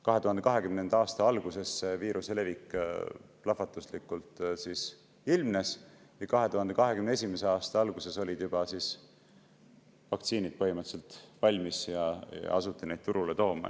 2020. aasta alguses viiruse plahvatuslik levik ilmnes ja 2021. aasta alguses olid vaktsiinid juba põhimõtteliselt valmis ja asuti neid turule tooma.